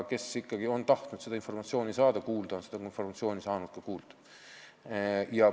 Kes on tahtnud seda informatsiooni kuulda saada, on seda ka kuulda saanud.